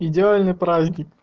идеальный праздник